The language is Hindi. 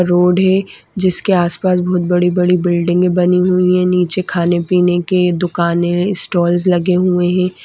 रोड है। जिसके आसपास बहुत बड़ी-बड़ी बिल्डिंग बनी हुई है नीचे खाने पीने के दुकान स्टॉल्सस लगे हुए हैं।